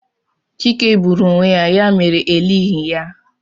Chike gburu onwe ya ya mere elighị ya